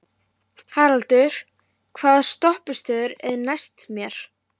Haraldur, hvaða stoppistöð er næst mér?